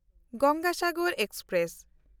Ganga Sagar express